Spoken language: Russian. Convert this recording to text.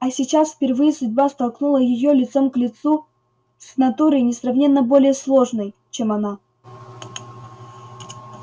а сейчас впервые судьба столкнула её лицом к лицу с натурой несравненно более сложной чем она